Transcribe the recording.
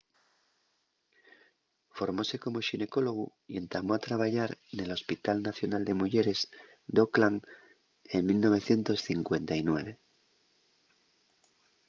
formóse como xinecólogu y entamó a trabayar nel hospital nacional de muyeres d’auckland en 1959